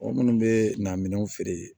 Mɔgɔ minnu bɛ na minɛnw feere